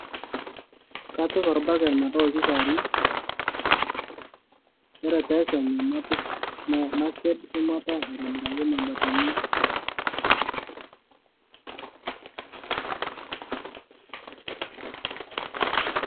kapik orbaket metawoiki kewarie ore pee ekenyu napik naked shumata aitobiraki mabatini